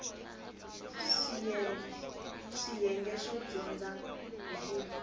swiyenge swo dyondza hi ku